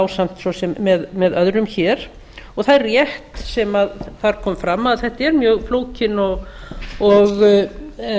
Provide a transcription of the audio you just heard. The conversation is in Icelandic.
ásamt svo sem með öðrum hér það er rétt sem þar kom fram að þetta er mjög flókin og